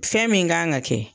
Fɛn min kan ka kɛ